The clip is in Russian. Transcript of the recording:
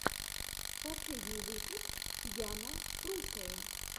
последний выпуск яна русая